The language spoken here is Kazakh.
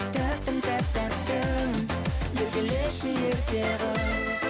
тәттім тәп тәттім еркелеші ерке қыз